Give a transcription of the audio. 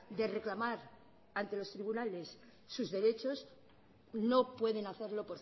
de reclamar ante los tribunales sus derechos no pueden hacerlo